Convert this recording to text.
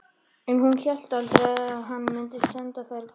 En hún hélt aldrei að hann mundi senda þær burt.